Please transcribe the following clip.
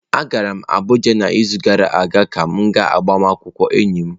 Agara m Abuja n'izu gara aga ka m gaa agbamakwụkwọ enyi m.